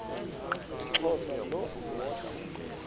umxhosa lo woda